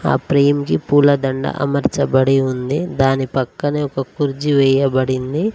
ఆ ఫ్రేం కి పూలదండ అమర్చబడి ఉంది దాని పక్కనే ఒక కుర్జీ వేయబడింది.